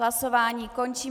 Hlasování končím.